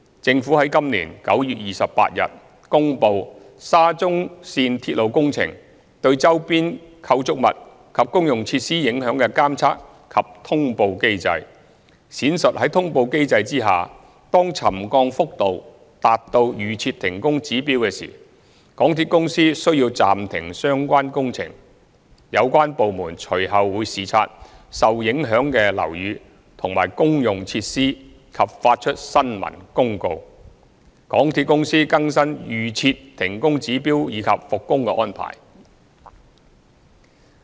政府於今年9月28日公布沙中線鐵路工程對周邊構築物及公用設施影響的監察及通報機制，闡述在通報機制下，當沉降幅度達到預設停工指標時，港鐵公司須暫停相關工程，有關部門隨後會視察受影響的樓宇和公用設施及發出新聞公報，港鐵公司更新預設停工指標以及復工的安排。